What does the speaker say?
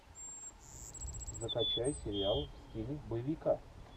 закачай сериал в стиле боевика